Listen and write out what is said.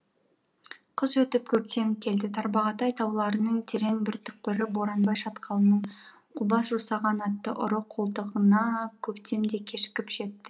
қыс өтіп көктем келді тарбағатай тауларының терең бір түкпірі боранбай шатқалының қубас жусаған атты ұры қолтығына көктем де кешігіп жетті